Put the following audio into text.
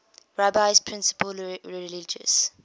rabbi's principal religious